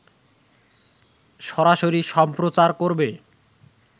সরাসরি সম্প্রচার করবে